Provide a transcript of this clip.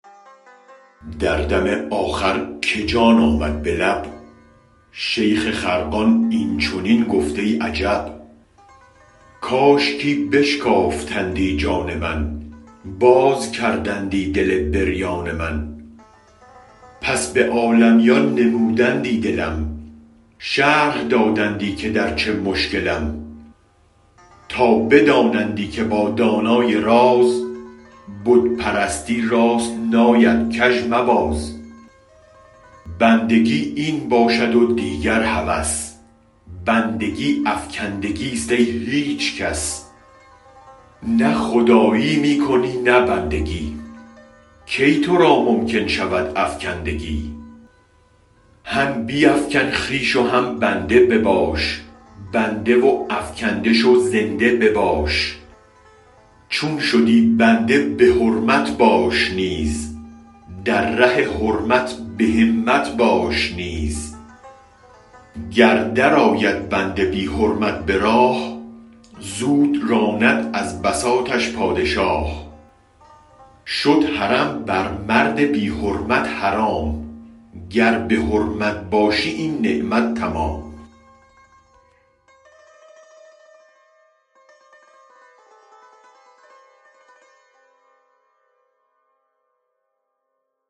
دردم آخر که جان آمد به لب شیخ خرقان این چنین گفت ای عجب کاشکی بشکافتندی جان من باز کردندی دل بریان من پس به عالمیان نمودندی دلم شرح دادندی که درچه مشکلم تا بدانندی که با دانای راز بت پرستی راست ناید کژ مباز بندگی این باشد و دیگر هوس بندگی افکندگیست ای هیچ کس نه خدایی می کنی نه بندگی کی ترا ممکن شود افکندگی هم بیفکن خویش و هم بنده بباش بنده و افکنده شو زنده بباش چون شدی بنده به حرمت باش نیز در ره حرمت بهمت باش نیز گر درآید بنده بی حرمت به راه زود راند از بساطش پادشاه شد حرم بر مرد بی حرمت حرام گر به حرمت باشی این نعمت تمام